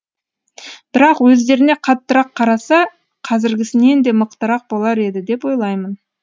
бірақ өздеріне қаттырақ қараса қазіргісінен де мықтырақ болар еді деп ойлаймын